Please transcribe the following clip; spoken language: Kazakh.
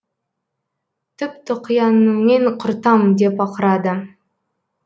түп тұқияныңмен құртам деп ақырады